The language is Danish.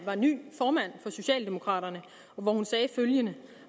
var ny formand for socialdemokraterne hvor hun sagde følgende